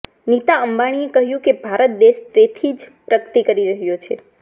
નીતા અંબાણીએ કહ્યું કે ભારત દેશ તેજીથી પ્રગતિ કરી રહ્યો છે